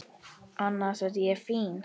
Annars er ég fín.